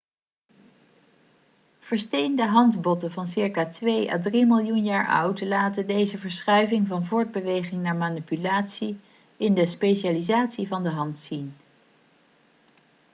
versteende handbotten van ca. twee à drie miljoen jaar oud laten deze verschuiving van voortbeweging naar manipulatie in de specialisatie van de hand zien